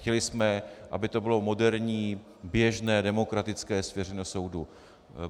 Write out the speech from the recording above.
Chtěli jsme, aby to bylo moderní, běžné, demokratické, svěřené soudu.